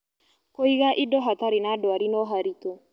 Kũiga indo hatarĩ na ndwari no haritũ